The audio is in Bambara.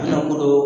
Ne bolo